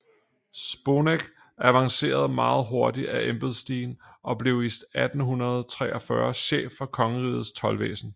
Sponneck avancerede meget hurtigt ad embedsstigen og blev i 1843 chef for kongerigets toldvæsen